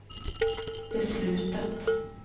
beslutet